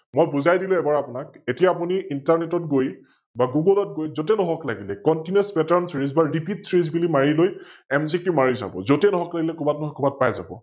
মই বুজাই দিলো এবাৰ আপোনাক, এতিয়া আপুনি Internet ত গৈ বা Goggle ত গৈ, যতে নহওক লাগিলে ContinousPatternSeries বা RepeatSeries বুলি মাৰি লৈ MGQ মাৰি চাৱ, যতে নহওক লাগিলে কৰবাত নহয় পাই যাব ।